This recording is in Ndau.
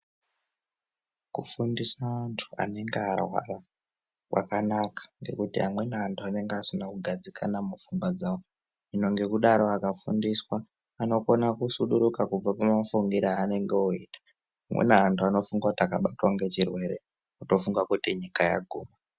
Kufundisa antu anenga arwara kwakanaka ngekuti amweni antu anenga asina kugadzikana mupfungwa dzawo, saka ngekudaro akafundiswa, anokone kusuduruka kubve kumafungire aanenge oyita. Amweni antu anofunga kuti akabatwa ngechirwere, otofunga kuti nyika yaguma.